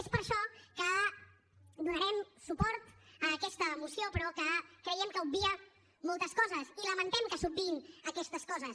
és per això que donarem suport a aquesta moció però que creiem que obvia moltes coses i lamentem que s’obviïn aquestes coses